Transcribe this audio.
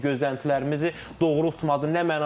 Gözləntilərimizi doğrultmadı nə mənada?